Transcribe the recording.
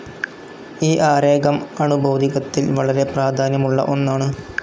ഈ ആരേഖം അണു ഭൗതികത്തിൽ വളരെ പ്രാധാന്യമുള്ള ഒന്നാണ്.